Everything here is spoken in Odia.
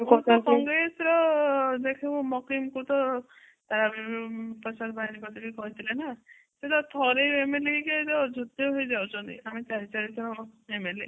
କଂଗ୍ରେସ ର ଦେଖିବୁ ମାକିନ କୁ ତ କହିଥିଲେ ନା ସେ ତ ଥରେ MLA ହେଇକି ବି ଯାଉଛନ୍ତି ଆମେ ଚାରି ଚାରି ଜଣ MLA